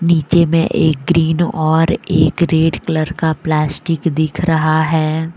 नीचे में एक ग्रीन और एक रेड कलर का प्लास्टिक दिख रहा है।